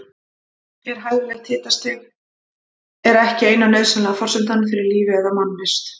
En hæfilegt hitastig er ekki eina nauðsynlega forsendan fyrir lífi eða mannvist.